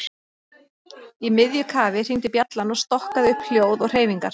Í miðju kafi hringdi bjallan og stokkaði upp hljóð og hreyfingar.